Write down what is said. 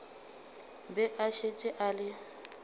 be a šetše a le